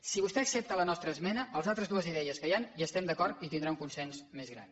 si vostè accepta la nostra esmena amb les altres dues idees que hi han hi estem d’acord i tindrà un consens més gran